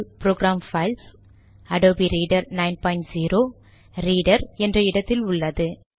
அது program files Adobe Reader 90 Reader என்ற இடத்தில் உள்ளது